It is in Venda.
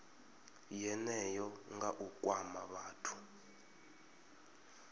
yeneyo nga u kwama vhathu